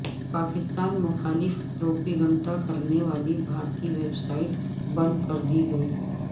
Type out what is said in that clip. پاکستان مخالف پروپیگنڈا کرنے والی بھارتی ویب سائٹ بند کر دی گئی